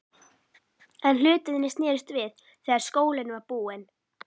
En hlutirnir snerust við þegar skólinn var búinn.